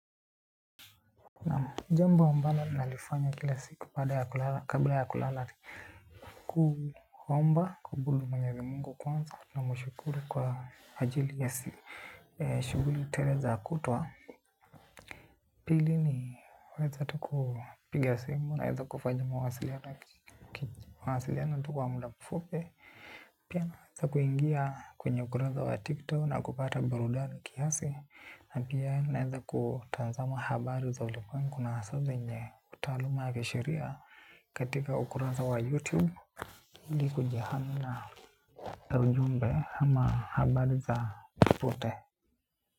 Jambo ambalo nalifanya kila siku baada ya kulala kabla ya kulala. Kuomba kubulu mwenyezi Mungu kwanza namshukuru kwa ajili ya shuguli tele za kutoa. Pili ni kuweza tu kupiga simu naweza kufanya mawasiliano. Mawasiliano tu kwa muda mfupi. Pia naweza kuingia kwenye ukurasa wa TikTok na kupata barudani kiasi. Na pia naweza kutazama habari za ulimwengu na hasa venye utaaluma ya kisheria katika ukurasa wa YouTube. Ili kujihami na ujumbe ama habari za upote.